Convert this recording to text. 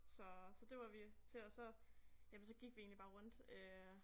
Så så det var vi til og så jamen så gik vi egentlig bare rundt øh